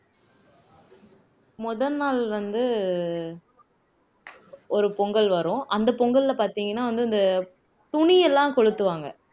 முதல் நாள் வந்து ஒரு பொங்கல் வரும் அந்த பொங்கல்ல பாத்தீங்கன்னா வந்து இந்த துணி எல்லாம் கொளுத்துவாங்க